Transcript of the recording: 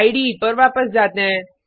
इडे पर वापस जाते हैं